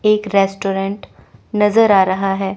एक रेस्टोरेंट नजर आ रहा है।